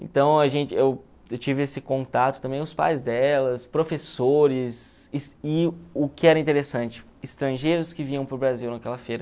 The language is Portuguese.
Então, a gente eu eu tive esse contato também com os pais delas, professores e o que era interessante, estrangeiros que vinham para o Brasil naquela feira.